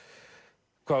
hvað